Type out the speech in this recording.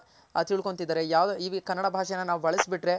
ತಿಳ್ಕೊಂತಿದಾರೆ ಯಾವ್ ಈ ಕನ್ನಡ ಭಾಷೆನ ನಾವ್ ಬಳಸ್ ಬಿಟ್ರೆ